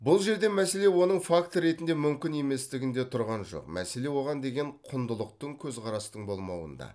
бұл жерде мәселе оның факт ретінде мүмкін еместігінде тұрған жоқ мәселе оған деген құндылықтық көзқарастың болмауында